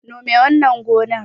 Nome wannan gonar